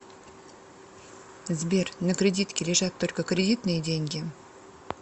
сбер на кредитке лежат только кредитные деньги